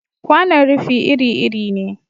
Kwanon rufi iri-iri ne.